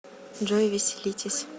джой веселитесь